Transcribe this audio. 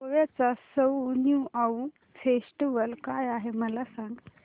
गोव्याचा सउ ज्युआउ फेस्टिवल काय आहे मला सांग